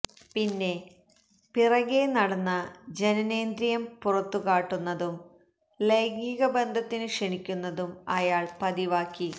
പിന്നെ പിറകേ നടന്ന ജനനേന്ദ്രിയം പുറത്തുകാട്ടുന്നതും ലൈംഗികബന്ധത്തിനു ക്ഷണിക്കുന്നതും അയാള് പതിവാക്കി